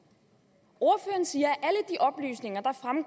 ordføreren siger